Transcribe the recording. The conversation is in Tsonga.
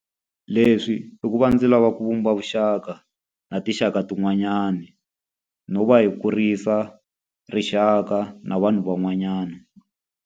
Leswi i ku va ndzi lava ku vumba vuxaka na tinxaka tin'wanyana, no va hi kurisa rixaka na vanhu van'wanyana.